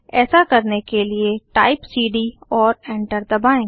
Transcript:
ऐसा करने के लिए टाइप सीडी और एंटर दबाएँ